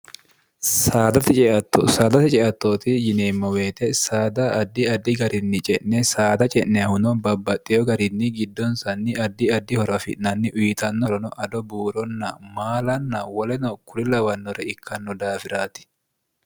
saadate ceattooti yineemmo weete saada addi addi garinni ce'ne saada ce'nehuno babbaxxeyo garinni giddonsanni addi addi horo afi'nanni uyitannohrono ado buuronna maalanna woleno kuri lawannore ikkanno daafiraati